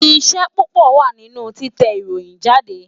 Iṣẹ́ púpọ̀ wà nínú títẹ ìròyìn jáde